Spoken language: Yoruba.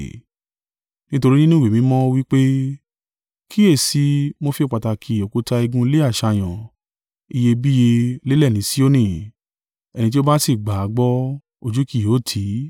Nítorí nínú Ìwé Mímọ́, ó wí pe: “Kíyèsi i, mo fi pàtàkì òkúta igun ilé àṣàyàn, iyebíye, lélẹ̀ ni Sioni: ẹni tí ó bá sì gbà á gbọ́ ojú kì yóò tì í.”